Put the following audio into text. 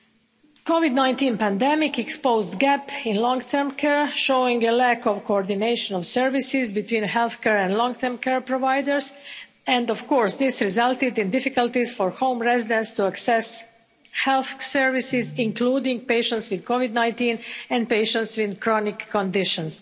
The COVID-19 pandemic exposed gaps in long term care, showing a lack of coordination of services between healthcare and long-term care providers, and of course this resulted in difficulties for home residents to access health services, including patients with COVID-19 and patients with chronic conditions.